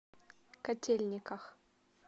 котельниках